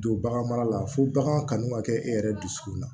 Don bagan mara la fo baganw kanu ka kɛ e yɛrɛ dusukun na